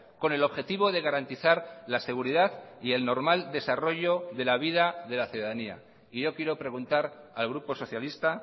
con el objetivo de garantizar la seguridad y el normal desarrollo de la vida de la ciudadanía y yo quiero preguntar al grupo socialista